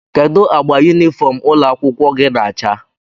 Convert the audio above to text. Kedụ agba yunifọm ụlọ akwụkwọ gị na acha?